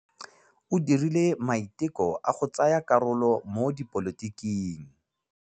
O dirile maitekô a go tsaya karolo mo dipolotiking.